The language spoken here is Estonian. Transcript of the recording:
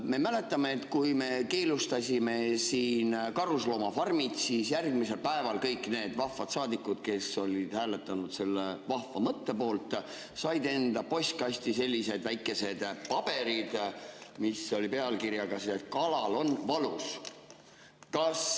Me mäletame, et kui me keelustasime siin karusloomafarmid, siis järgmisel päeval kõik need vahvad saadikud, kes olid hääletanud selle vahva mõtte poolt, said enda postkasti sellised väikesed paberid pealkirjaga "Kalal on valus".